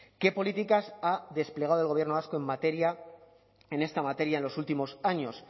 qué políticas ha desplegado del gobierno vasco en esta materia en los últimos años